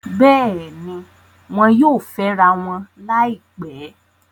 Bẹ́ẹ̀ni, wọn yóò fẹ́rawọn láìpẹ́